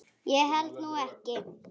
Ég held nú ekki.